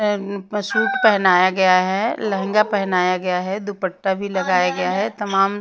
suit पहनाया गया है लहंगा पहनाया गया है दुपट्टा भी लगाया गया है तमाम --